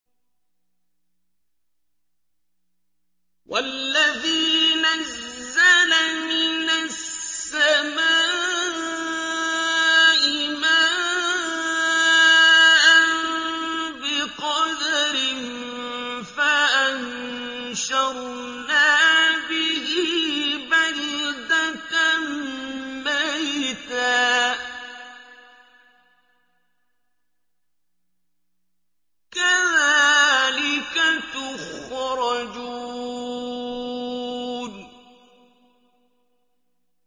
وَالَّذِي نَزَّلَ مِنَ السَّمَاءِ مَاءً بِقَدَرٍ فَأَنشَرْنَا بِهِ بَلْدَةً مَّيْتًا ۚ كَذَٰلِكَ تُخْرَجُونَ